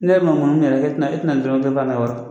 Ne e tina dɔrɔmɛ kelen